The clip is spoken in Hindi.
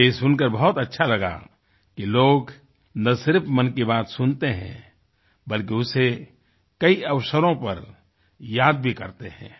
मुझे ये सुनकर बहुत अच्छा लगा कि लोग न सिर्फ मन की बात सुनते हैं बल्कि उसे कई अवसरों पर याद भी करते हैं